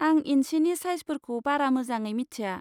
आं इन्सिनि साइजफोरखौ बारा मोजाङै मिथिया।